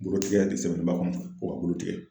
Bolo tigɛya de sɛbɛnnen b'a kɔnɔ .Ko ka bolo tigɛ.